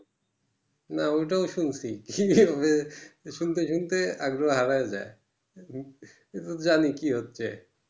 না ওটাও শুনছি শুনতে শুনতে আগ্রোহ হারিয়ে যাই এটা তো জানি কি হচ্ছে